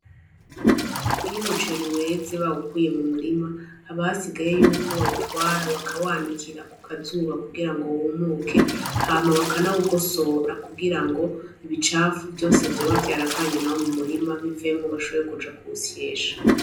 Iyo umuceri weze bawukuye mu murima, haba hasigaye yuko bawutwara bakawanikira ku kazuba kugira ngo wumuke, hama bakanawugosora kugira ngo ibicafu vyose vyoba vyaravanye nawo mu murima bivemwo, bashobore kuja kuwusyesha.